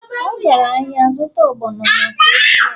ọ gara ahịa zụta ogbono maka ofe ya